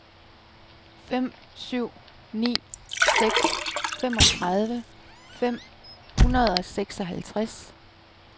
fem syv ni seks femogtredive fem hundrede og seksoghalvtreds